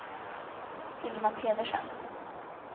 Hilma Pedersen